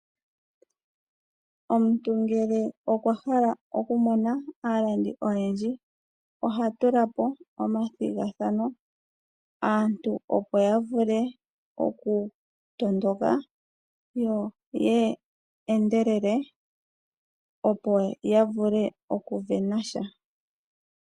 Omuntu ngele okwa hala oku mona aalandi oyendji, oha tula po omathigathano aantu opo ya vule oku tondoka yo ya endelele opo ya vule oku isindanena sha.